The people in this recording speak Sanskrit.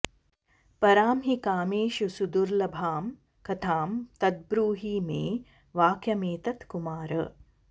परां हि कामेषु सुदुर्लभां कथां तद्ब्रूहि मे वाक्यमेतत्कुमार